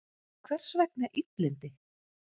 Hvers vegna illindi?